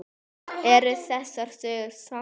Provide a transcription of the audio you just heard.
Eru þessar sögur sannar?